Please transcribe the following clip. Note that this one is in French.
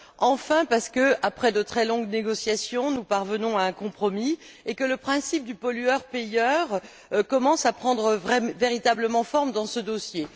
Enfin parce que, après de très longues négociations, nous parvenons à un compromis et que le principe du pollueur payeur commence à prendre véritablement forme dans ce dossier.